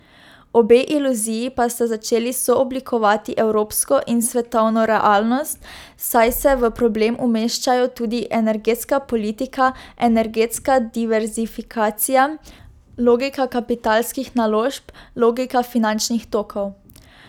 Obe iluziji pa sta začeli sooblikovati evropsko in svetovno realnost, saj se v problem umeščajo tudi energetska politika, energetska diverzifikacija, logika kapitalskih naložb, logika finančnih tokov.